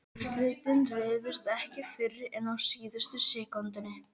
Úrslitin réðust ekki fyrr en á síðustu sekúndunum.